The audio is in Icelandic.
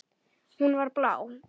Hún var blá.